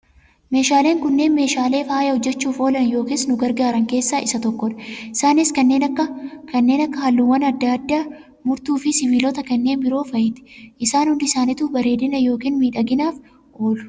Meeshaaleen kunneen, meeshaalee faaya hojjechuuf oolan yookiis nu gargaaran keessa isa tokko dha. Isaanis kanneen akka halluuwwan addaa addaa, murtuu fi sibiilota kanneen biroo fa'aati. Isaan hundi isaaniitu bareedina yookaan miidhaginaaf oolu.